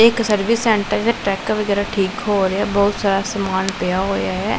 ਇਹ ਇੱਕ service centre ਹੈ ਟਰੱਕ ਵਗੈਰਾ ਠੀਕ ਹੋ ਰਹੇ ਹੈਂ ਬਹੁਤ ਸਾਰਾ ਸਮਾਨ ਪਿਆ ਹੋਇਆ ਹੈ।